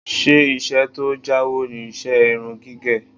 Ṣé iṣẹ́ tó jáwó ni iṣẹ́ irun gígẹ̀?